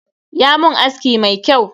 Ya mun aski mai kyau.